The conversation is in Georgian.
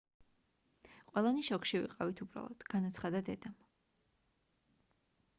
ყველანი შოკში ვიყავით უბრალოდ - განაცხადა დედამ